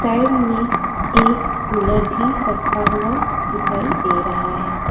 Side में एक cooler भी रखा हुआ दिखाई दे रहा है।